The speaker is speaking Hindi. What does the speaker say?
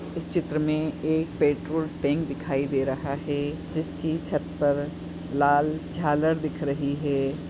इस चित्र मे एक पेट्रोल टेंक दिखाई दे रहा है जिसकी छत पर लाल जालर दिख रही है।